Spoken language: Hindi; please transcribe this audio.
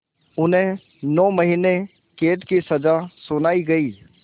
उन्हें नौ महीने क़ैद की सज़ा सुनाई गई